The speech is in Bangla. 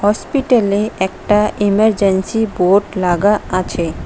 হসপিটালে একটা ইমারজেন্সি বোর্ড লাগা আছে।